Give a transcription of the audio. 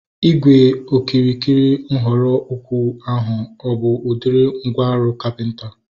Ígwè okirikiri nhọrọ ukwu ahu a bụ udiri mgwooru kapịnta?